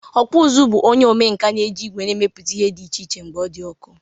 Ọkpụụzụ bụ onye omenkà nke na-eji ígwè na-emepụta ihe dị ịchichịe mgbe ọ dị ọkụ